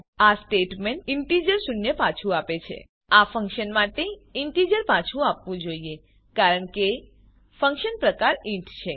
આ statement integer શૂન્ય પાછું આપે છે આ ફંક્શન માટે ઇન્ટીજર પાછું આવવું જોઈએ કારણ કે ફંક્શન પ્રકાર ઇન્ટ છે